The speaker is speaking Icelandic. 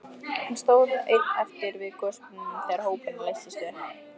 Hann stóð einn eftir við gosbrunninn þegar hópurinn leystist upp.